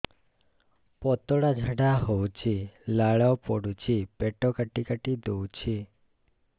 ପତଳା ଝାଡା ହଉଛି ଲାଳ ପଡୁଛି ପେଟ କାଟି କାଟି ଦଉଚି